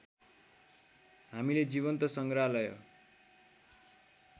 हामीले जीवन्त सङ्ग्रहालय